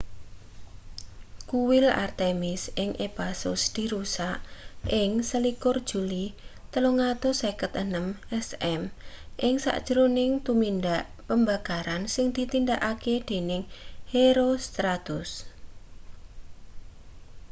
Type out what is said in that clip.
kuil artemis ing ephasus dirusak ing 21 juli 356 sm ing sajroning tumindak pembakaran sing ditindakake dening herostratus